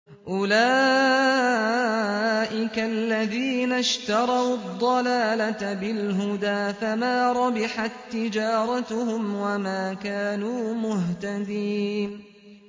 أُولَٰئِكَ الَّذِينَ اشْتَرَوُا الضَّلَالَةَ بِالْهُدَىٰ فَمَا رَبِحَت تِّجَارَتُهُمْ وَمَا كَانُوا مُهْتَدِينَ